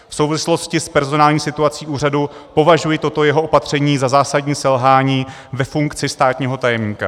V souvislostí s personální situací úřadu považuji toto jeho opatření za zásadní selhání ve funkci státního tajemníka."